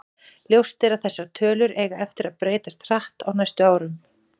Ljóst er að þessar tölur eiga eftir að breytast hratt á næstu árum.